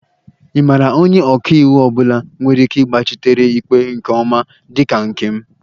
Ị maara onye ọka iwu ọ bụla nwere ike ịgbachitere ikpe nke ọma dị ka nke m?